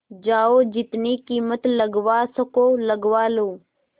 जाओ जितनी कीमत लगवा सको लगवा लो